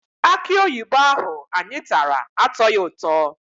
Akịoyibo ahụ anyị tara atọghị ụtọ.